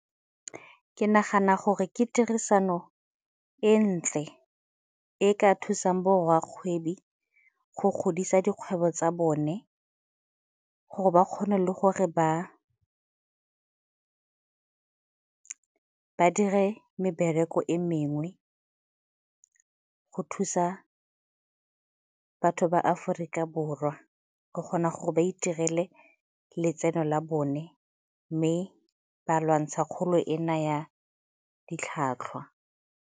Ke nagana gore ke tirisano e ntle e e ka thusang bo rrakgwebi go godisa dikgwebo tsa bone gore ba kgone le gore ba dire mebereko e mengwe go thusa batho ba Aforika Borwa go kgona gore ba itirele letseno la bone mme ba lwantsha kgolo ena ya ditlhwatlhwa.